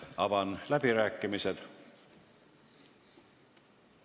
Avan läbirääkimised.